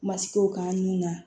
Masigo k'an ni